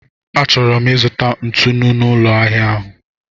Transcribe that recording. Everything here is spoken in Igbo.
Achọrọ m ịzụta ntụnụ n'ụlọ ahịa ahụ.